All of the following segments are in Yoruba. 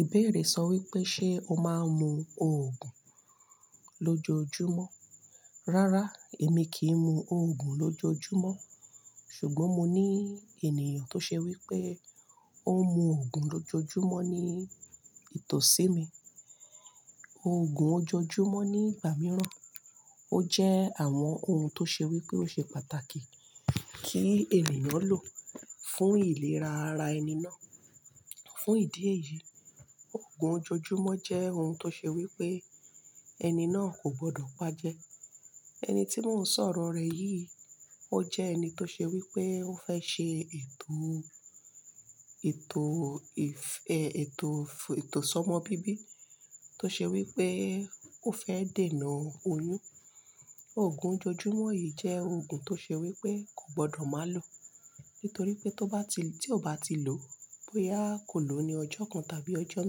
Ìbéèrè sọ wípé ṣe o máa ń mu òògùn lójoojúmọ́? Rárá, èmi kì í mu òògùn lójoojúmọ́. Ṣùgbọ́n mo ní ènìyàn tó ṣe wípé ó ń mu òògùn lójoojúmọ́ ní ìtòsí mi. Òògùn ojoojúmọ́ ní igbà mìíràn ó jẹ́ àwọn ohun tó ṣe wípé ó ṣe pàtàkì kí ènìyàn lò fún ìlera ara ẹni náà. Fún ìdí èyí, òògùn ojoojúmọ́ jẹ́ ohun tó ṣe wípé ẹni náà kò gbọdọ̀ paájẹ́. Ẹni tí mò ń sọ ọ̀rọ̀ rẹ yìí ó jẹ́ ẹni tó ṣe wípé ó fẹ́ ṣe ètò, ètò, e-è-èto, ètò sọ́mọ bíbí tó ṣe wípé ó fẹ́ dènà oyún. Òògùn ojoojúmọ́ yìí jẹ́ òògùn tó ṣe wípé kò gbọdọ̀ má lòó. Nítorí pé tó bá ti, tí ó bá ti lòó bóyá kò lóó ní ọjọ́ kan tàbí ọjọ́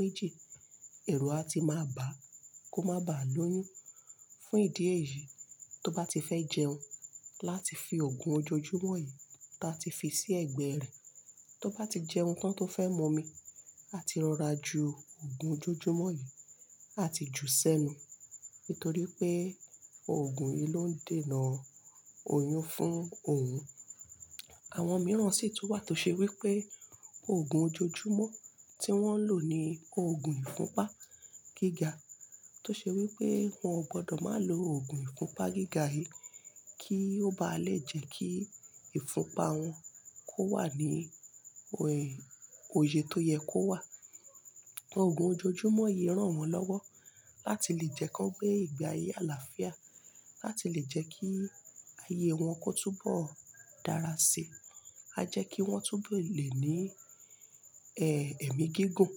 méjì, ẹ̀rù á ti máa bàá kó máa bàa lóyún. Fún ìdí èyí, tó bá ti fẹ́ jẹun láti fi òògùn ojoojúmọ́ yìí ta ti fi sí ẹ̀gbẹ́ rẹ̀, tó bá ti jẹun tán tó fẹ́ mọmi, á ti rọra ju òògùn ojoojúmọ́ yìí, á ti jù ú sẹ́nu. Nítorí pé òògùn yìí ló ń dènà oyún fún òun. Àwọn mìíràn sì tún wà tó ṣe wípé òògùn ojoojúmọ́ tí wón ń lò ní òògùn ìfunpá gíga tó ṣe wípé wọn ò gbọdọ̀ má lòògùn ìfunpá gíga yìí kí ó bá lè jẹ́ kí ìfunpá wọn kó wà ní oye tó yẹ kó wà. Òògùn ojoojúmọ́ yìí ràn wọ́n lọ́wọ́ láti lè jẹ́ kí wọ́n gbé ìgbé ayé àlàáfíà, láti lè jẹ́ kí ayé wọn kó túbọ̀ dára sí i. A jẹ́ kí wọ́n túbọ̀ lè ní, ẹ́, ẹ̀mí gígùn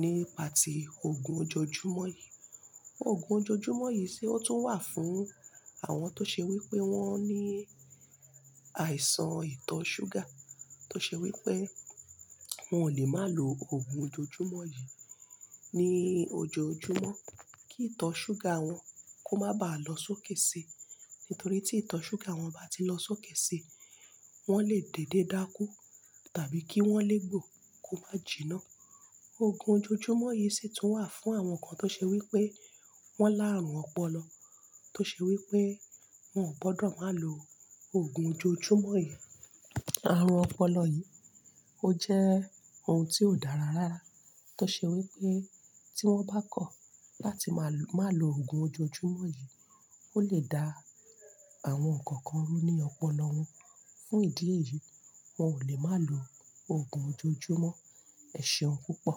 nípa ti òògùn ojoojúmọ́ yìí. Òògùn ojoojúmọ́ yìí sì ó tún wà fún àwọn tó ṣe wípé wọ́n ní àìsàn ìtọ̀ ṣúgà tó ṣe wípé wọn ò lè má lò òògùn ojoojúmọ́ yìí ní ojoojúmọ́ kí ìtọ̀ ṣúgà wọn kó má bàá lọ sókè si. Nítorí tí ìtọ̀ ṣúgà wọn bá ti lọ sókè si, wọn lè dède dákú tàbí kí wọ́n lè gbó kó má jìnnà. Òògùn ojoojúmọ́ yìí sì tún wà fún àwọn kan tó ṣe wípé wọn láàrùn ọpọlọ tó ṣe wípé wọn ò gbọdọ̀ má lò òògùn ojoojúmọ́ yìí. Àrùn ọpọlọ yìí ó jẹ́ ohun tí ò dára rárá tó ṣe wípé tí wọ́n bá kọ̀ láti má lò, má lòògùn ojoojúmọ́ yìí ó lè dá àwọn nǹkan kan rú ní ọpọlọ wọn. Fún ìdí èyí, wọn ò lè má lò òògùn ojoojúmọ́ ẹ̀ṣẹ̀ wọn púpọ̀.